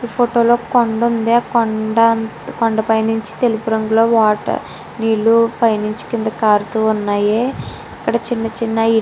ఈ ఫోటో లో ఒక కొండ ఉంది ఆ కొండ పైనించి తెలుపు రంగు లో వాటర్ నీళ్లు పైనించి నీళ్లు కారుతువున్నాయి.